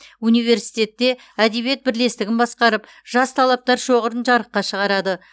университетте әдебиет бірлестігін басқарып жас талаптар шоғырын жарыққа шығарады